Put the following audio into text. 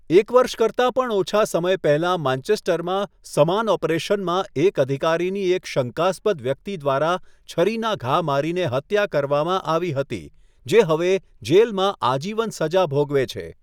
એક વર્ષ કરતાં પણ ઓછા સમય પહેલાં માન્ચેસ્ટરમાં સમાન ઓપરેશનમાં એક અધિકારીની એક શંકાસ્પદ વ્યક્તિ દ્વારા છરીના ઘા મારીને હત્યા કરવામાં આવી હતી, જે હવે જેલમાં આજીવન સજા ભોગવે છે.